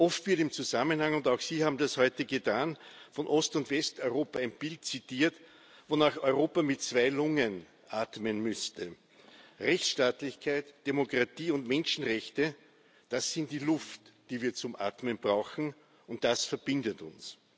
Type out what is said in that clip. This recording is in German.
Oft wird und auch Sie haben das heute getan im Zusammenhang von Ost und Westeuropa ein Bild zitiert, wonach Europa mit zwei Lungen atmen müsste. Rechtsstaatlichkeit, Demokratie und Menschenrechte, das sind die Luft, die wir zum atmen brauchen, und das verbindet uns.